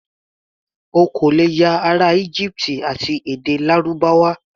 O kò lè ya ará Íjíbítì àti èdè Lárúbáwá.